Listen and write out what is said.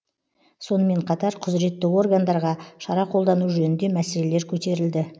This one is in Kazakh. сонымен қатар құзіретті органдарға шара қолдану жөнінде мәселелер көтерілді